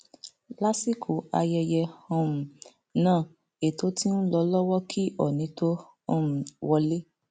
lásìkò ayẹyẹ um náà ètò ti ń lọ lọwọ kí oónì tóó um wọlé